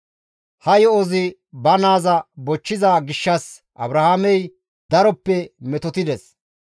Ha yo7ozi ba naaza bochchiza gishshas Abrahaamey daroppe metotettides.